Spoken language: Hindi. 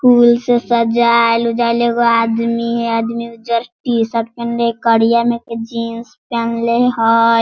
फूल से सजायल-उजयाल एगो आदमी हय आदमी उजर टी-शर्ट पेहनले हय करिया में के जीन्स पेहनले हय।